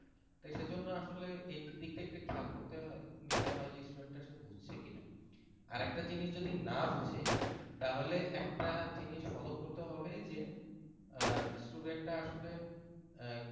তো সেজন্য আসলে এই দিকটা একটু খেয়াল করতে হয় যে আসলে student টা বুঝছে কিনা আর একটা জিনিস যদি না বুঝে তাহলে একটা জিনিস follow করতে হবে যে student টা আসলে আহ